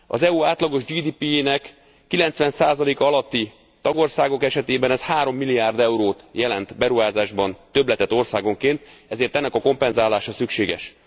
Az EU átlagos GDP jének 90 a alatti tagországok esetében ez 3 milliárd eurót jelent beruházásban, többletet országonként, ezért ennek a kompenzálása szükséges.